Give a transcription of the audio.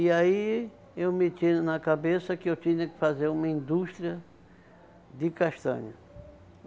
E aí, eu me tinha na cabeça que eu tinha que fazer uma indústria de castanha.